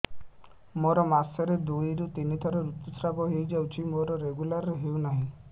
ମୋର ମାସ କ ରେ ଦୁଇ ରୁ ତିନି ଥର ଋତୁଶ୍ରାବ ହେଇଯାଉଛି ମୋର ରେଗୁଲାର ହେଉନାହିଁ